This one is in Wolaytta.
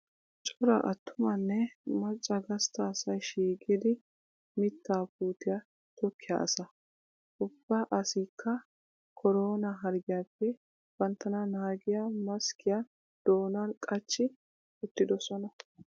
Cora attumanne macca gastta asayi shiiqidi mittaa puutiyaa tokkiyaa asaa. Ubba asyikka koronaa harggiyaappe banttana naagiya maskkiyaa doonan qachchi uttidosonaa.